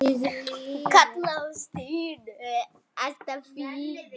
Hún kallaði á Stínu.